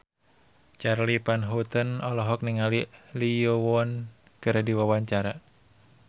Charly Van Houten olohok ningali Lee Yo Won keur diwawancara